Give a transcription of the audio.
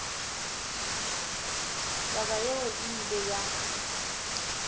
taba yeo e ile ya